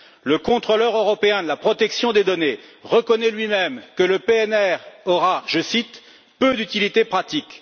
Le Contrôleur européen de la protection des données reconnaît lui même que le PNR aura, je cite, peu d'utilité pratique.